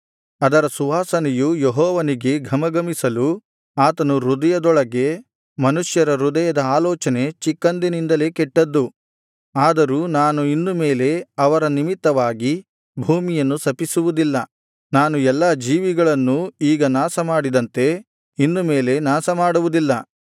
ಅದರ ಸುವಾಸನೆಯು ಯೆಹೋವನಿಗೆ ಗಮಗಮಿಸಲು ಆತನು ಹೃದಯದೊಳಗೆ ಮನುಷ್ಯರ ಹೃದಯದ ಆಲೋಚನೆ ಚಿಕ್ಕಂದಿನಿಂದಲೇ ಕೆಟ್ಟದ್ದು ಆದರೂ ನಾನು ಇನ್ನು ಮೇಲೆ ಅವರ ನಿಮಿತ್ತವಾಗಿ ಭೂಮಿಯನ್ನು ಶಪಿಸುವುದಿಲ್ಲ ನಾನು ಎಲ್ಲಾ ಜೀವಿಗಳನ್ನೂ ಈಗ ನಾಶಮಾಡಿದಂತೆ ಇನ್ನು ಮೇಲೆ ನಾಶ ಮಾಡುವುದಿಲ್ಲ